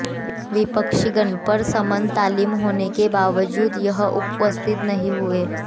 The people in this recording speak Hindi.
विपक्षीगण पर समन तामील होने के बावजूद वह उपस्थित नहीं हुए